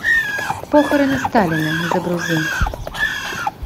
похороны сталина загрузи